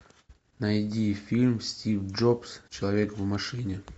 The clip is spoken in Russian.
найди фильм стив джобс человек в машине